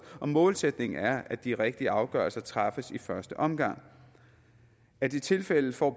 og målsætningen er at de rigtige afgørelser træffes i første omgang er det tilfældet får